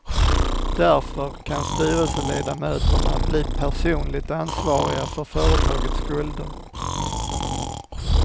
Därför kan styrelseledamöterna bli personligt ansvariga för företagets skulder.